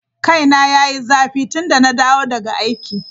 Kaina ya yi zafi tun da na dawo daga aiki.